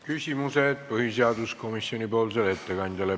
Küsimused põhiseaduskomisjoni ettekandjale.